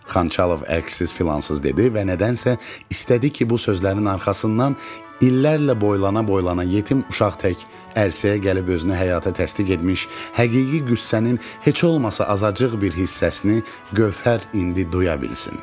Xançalov əksiz filansız dedi və nədənsə istədi ki, bu sözlərin arxasından illərlə boylana-boylana yetim uşaq tək ərsəyə gəlib özünü həyata təsdiq etmiş, həqiqi qüssənin heç olmasa azacıq bir hissəsini Gövhər indi duya bilsin.